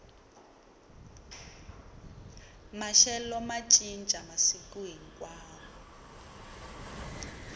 maxelo ma ncinca masiku hinkwawo